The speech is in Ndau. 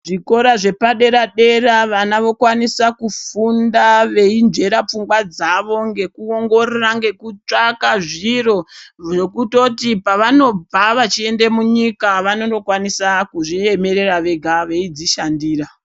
Zvikora zvepadera-dera vana vokwanisa kufunda veinzvera pfungwa dzavo ngekuongorora ngekutsvanga zviro zvekutoti pavanobva vachiende munyika vanondokwanisa kuzviemera vega veidzishandira.